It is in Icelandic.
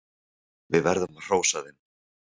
Við verðum að hrósa þeim.